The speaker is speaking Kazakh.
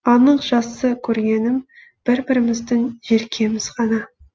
анық жақсы көргенім бір біріміздің желкеміз ғана